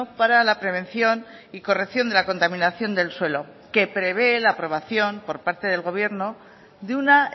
para la prevención y corrección de la contaminación del suelo que prevé la aprobación por parte del gobierno de una